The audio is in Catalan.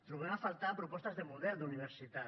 trobem a faltar propostes de model d’universitat